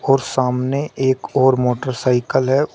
और सामने एक और मोटरसाइकल है।